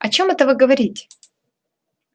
о чём это вы говорите